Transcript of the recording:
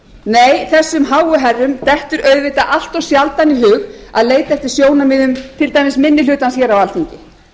nei þessum háu herrum dettur auðvitað allt of sjaldan í hug að leita eftir sjónarmiðum til dæmis minni hlutans hér á alþingi